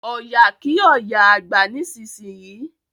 Ọya kí oya àgbà nísìsiyìí!